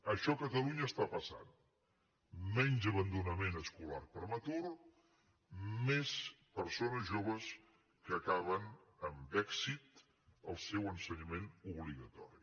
això a catalunya està passant menys abandonament escolar prematur més persones joves que acaben amb èxit el seu ensenyament obligatori